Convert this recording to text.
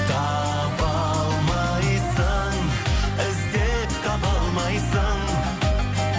таба алмайсың іздеп таба алмайсың